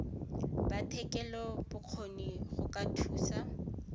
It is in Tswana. ba thetelelobokgoni go ba thusa